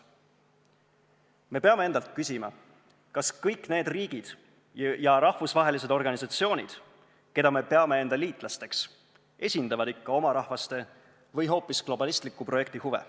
Me peame endalt küsima, kas kõik need riigid ja rahvusvahelised organisatsioonid, keda me peame enda liitlasteks, esindavad ikka oma rahvaste või hoopis globalistliku projekti huve.